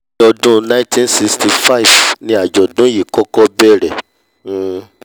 ní ní ọdún nineteen sixty five ní àjọ̀dún yìí kọ́kọ́ bẹ̀rẹ̀ um